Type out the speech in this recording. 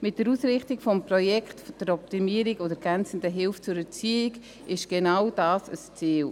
Mit der Ausrichtung des Projekts zur Optimierung und ergänzenden Hilfe zur Erziehung soll genau dieses Ziel erreicht werden: